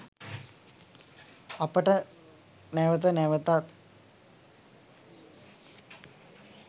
අපට නැවත නැවතත්